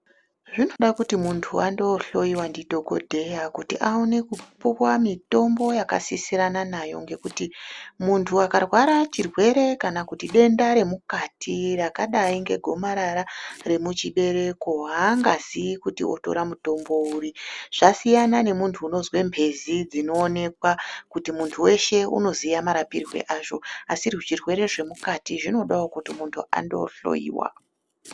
Zvinode kuti munthu aende koohloiwa ndidhokodheya kuti aone kupuwa mitombo yakasisirana naye, ngekuti munthu akarwara chirwere kana kuti denda remukati, rakadai ngegomarara remuchibereko, aangazii kuti otora mutombo uri, zvasiyana unozwa mphezi dzinoonekwa, kuti munthu weshe unoziye marapirwe azvo, asi zvirwere zvemukati, zvinodawo kuti munthu amboohloiwa.